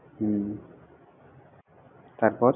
হুম তারপর.